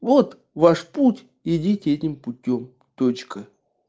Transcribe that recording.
вот ваш путь идите этим путём точка